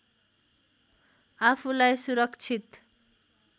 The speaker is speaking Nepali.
आफूलाई सुरक्षित